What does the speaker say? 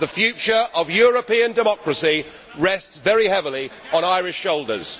The future of European democracy rests very heavily on Irish shoulders.